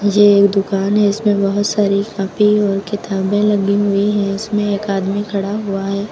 ये एक दुकान है इसमें बहुत सारी कॉपी और किताबें लगी हुई है उसमें एक आदमी खड़ा हुआ है।